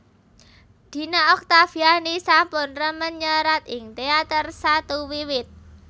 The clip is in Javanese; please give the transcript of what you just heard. Dina Oktaviani sampun remen nyerat ing teater satu wiwit